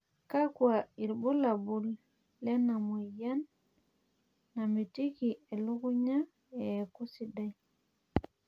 kakwa irbulabol lena moyian namitiki elukunya eeku sidai?